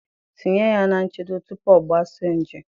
Tinye ya na nchedo tupu ọ gbasaa nje